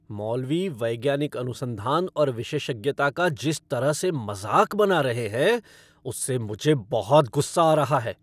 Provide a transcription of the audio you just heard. मौलवी वैज्ञानिक अनुसंधान और विशेषज्ञता का जिस तरह से मज़ाक बना रहे हैं, उससे मुझे बहुत गुस्सा आ रहा है।